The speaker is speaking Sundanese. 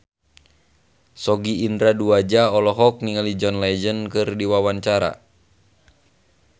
Sogi Indra Duaja olohok ningali John Legend keur diwawancara